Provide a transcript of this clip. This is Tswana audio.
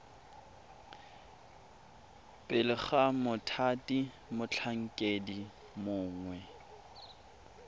pele ga mothati motlhankedi mongwe